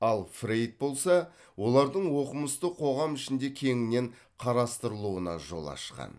ал фрейд болса олардың оқымысты қоғам ішінде кеңінен қарастырылуына жол ашқан